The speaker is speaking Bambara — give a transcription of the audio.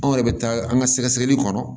Anw yɛrɛ bɛ taa an ka sɛgɛ sɛgɛli kɔnɔ